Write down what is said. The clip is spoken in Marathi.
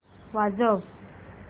वाजव